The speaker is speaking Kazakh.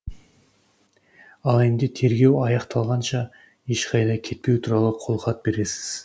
ал енді тергеу аяқталғанша ешқайда кетпеу туралы қолхат бересіз